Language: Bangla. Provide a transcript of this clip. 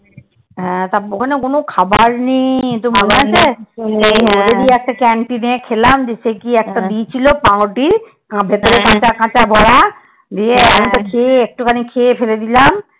হ্যাঁ তারপর ওখানে কোনো খাবার নেই একটা canteen এ খেলাম সেই কি একটা দিয়েছিল? পাউরুটি ভিতরে কাচা কাচা বড়া। দিয়ে আমি তো খেয়ে একটু খেয়ে একটুখানি খেয়ে ফেলে দিলাম।